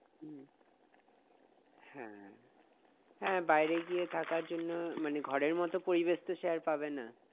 হ্যাঁ হ্যাঁ হ্যাঁ বাইরে গিয়ে থাকার জন্য মানে ঘরের মত পরিবেশ তো সে আর পাবেনা